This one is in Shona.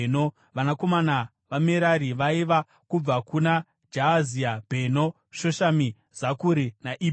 Vanakomana vaMerari vaiva: kubva kuna Jaazia: Bheno, Shoshami, Zakuri, naIbhiri.